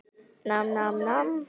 Samt bind ég vonir við Stefán.